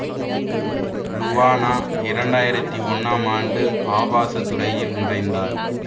Luana இரண்டு ஆயிரத்தி ஒன்னாம் ஆண்டு ஆபாச துறையில் நுழைந்தார்